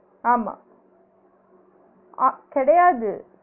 ஆமா அஹ் கிடயாது